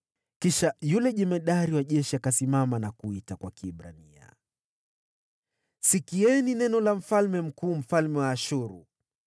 Kisha yule jemadari wa jeshi akasimama na kuita kwa lugha ya Kiebrania, akasema: “Sikieni neno la mfalme mkuu, mfalme wa Ashuru!